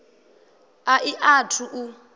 a i a thu u